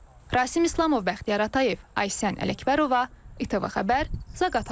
Rasim İslamov, Bəxtiyar Atayev, Aysən Ələkbərova, İTV Xəbər, Zaqatala.